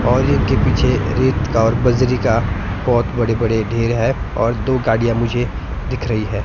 और इनके पीछे रेत का और बजरी का बहुत बड़े बड़े ढेर है और दो गाड़ियां मुझे दिख रही है।